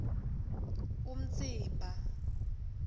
umtsimba